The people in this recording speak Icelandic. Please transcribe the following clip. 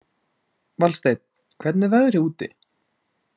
Valsteinn, hvernig er veðrið úti?